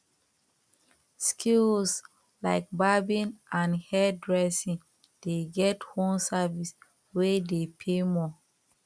skills like barbing and hair dressing dey get home service wey de pay more